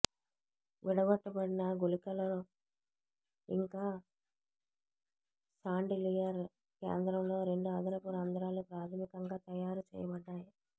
విడగొట్టబడిన గుళికలో ఇంకా షాన్డిలియర్ కేంద్రంలో రెండు అదనపు రంధ్రాలు ప్రాథమికంగా తయారు చేయబడ్డాయి